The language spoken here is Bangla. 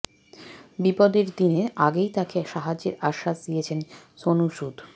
বিপদের দিনে আগেই তাকে সাহায্যের আশ্বাস দিয়েছেন সোন সুদ